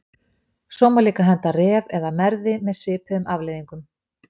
Svo má líka henda Ref eða Merði með svipuðum afleiðingum.